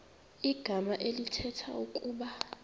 igama elithetha ukuba